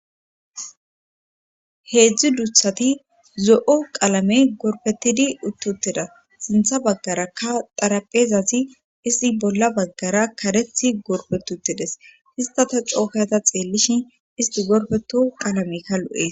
heedzdzu duuthati zo'o qaalame gorpetidi uttuteda sintha baggarakka taraphezazi isti bolla baggara karethi gorpetutides hista ta cookata xeellishin isti gorfeto qalamekka lo'ees